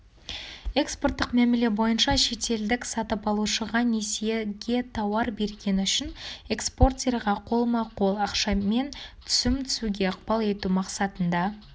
экспорттық мәміле бойынша шетелдік сатып алушыға несиеге тауар бергені үшін экспортерға қолма-қол ақшамен түсім түсуге ықпал ету мақсатында